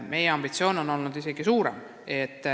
Meie ambitsioon on isegi suurem.